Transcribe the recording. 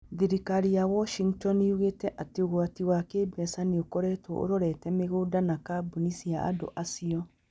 Thirikari ya Washington yugĩte atĩ ũgwati wa kĩĩmbeca nĩ ũkoretwo ũrorete mĩgũnda na kambuni cia andũ acio.